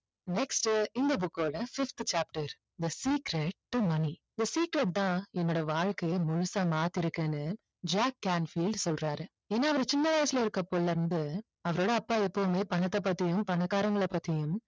next இந்த book ஓட fifth chapter the secret the money the secret தான் என்னோட வாழ்க்கைய முழுசா மாத்தி இருக்குன்னு ஜாக் கேன்ஃபீல்டு சொல்றாரு ஏன்னா அவரு சின்ன வயசுல இருக்கபோதில இருந்து அவரோட அப்பா எப்போவுமே பணத்தை பத்தியும் பணக்காரங்களை பத்தியும்